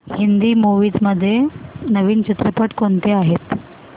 Hindi movies मध्ये नवीन चित्रपट कोणते आहेत